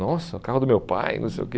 Nossa, carro do meu pai, não sei o que...